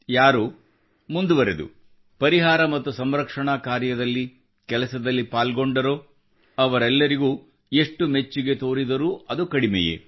ಯಾರು ಮುಂದುವರಿದು ಪರಿಹಾರ ಮತ್ತು ಸಂರಕ್ಷಣಾ ಕಾರ್ಯದಲ್ಲಿ ಕೆಲಸದಲ್ಲಿ ಪಾಲ್ಗೊಂಡರೋ ಅವರೆಲ್ಲರಿಗೂ ಎಷ್ಟು ಮೆಚ್ಚುಗೆ ತೋರಿದರೂ ಅದು ಕಡಿಮೆಯೇ